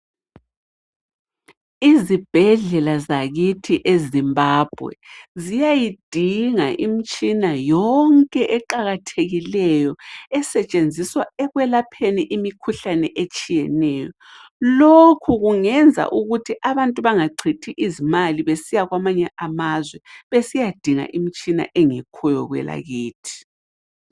Izibhedlela zakithi eZimbabwe ziyayidinga imitshina yonke eqakathekileyo esetshenziswa ekwelapheni imikhuhlane etshiyeneyo. Lokhu kungenza ukuthi abantu bangachithi izimali besiya kwamanye amazwe besiyadinga imtshina engekhoyo kwelakithi.